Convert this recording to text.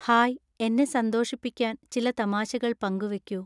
hi എന്നെ സന്തോഷിപ്പിക്കാൻ ചില തമാശകൾ പങ്കുവെക്കൂ